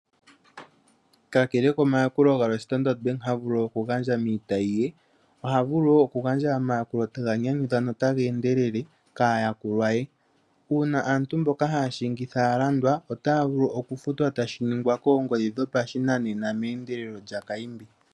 Kakele komayakulo galwe Standard Bank havulu okugandja miitayi ye. oha vulu wo okugandja omayakulo taga nyanyudha notaga endelele kaayakulwa ye. Uuna aantu mboka haya shingithwa ya landwa otaya vulu okufutwa tashi ningwa koongodhi dhopashinanena meendelelo lyakaimbi.